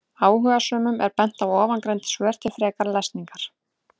Áhugasömum er bent á ofangreind svör til frekari lesningar.